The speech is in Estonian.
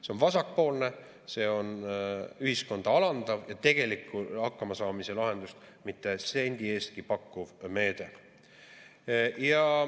See on vasakpoolne, see on ühiskonda alandav ja tegelikku hakkamasaamise lahendust mitte sendi eestki pakkuv meede.